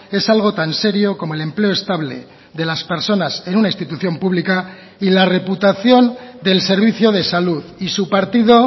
es algo tan serio como el empleo estable de las personas en una institución pública y la reputación del servicio de salud y su partido